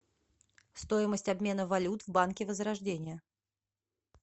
стоимость обмена валют в банке возрождение